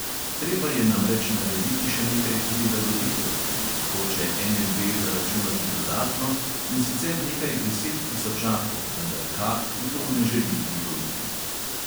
Treba je namreč narediti še nekaj prilagoditev, ki jih hoče NLB zaračunati dodatno, in sicer nekaj deset tisočakov, vendar kad v to ne želi privoliti.